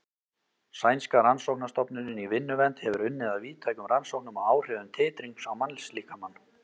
Sænska rannsóknastofnunin í vinnuvernd hefur unnið að víðtækum rannsóknum á áhrifum titrings á mannslíkamann.